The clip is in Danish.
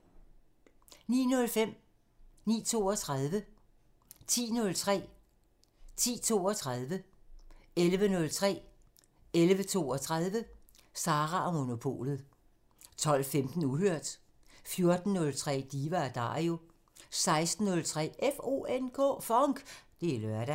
06:03: Regionale programmer 09:05: Sara & Monopolet 09:32: Sara & Monopolet 10:03: Sara & Monopolet 10:32: Sara & Monopolet 11:03: Sara & Monopolet 11:32: Sara & Monopolet 12:15: Uhørt 14:03: Diva & Dario 16:03: FONK! Det er lørdag